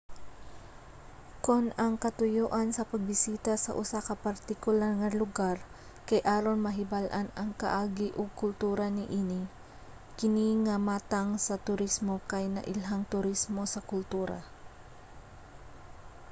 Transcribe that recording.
kon ang katuyoan sa pagbisita sa usa ka partikular nga lugar kay aron mahibal-an ang kaagi ug kultura niini kini nga matang sa turismo kay nailhang turismo sa kultura